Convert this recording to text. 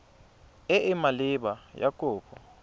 e e maleba ya kopo